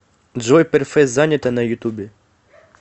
джой перфе занято на ютубе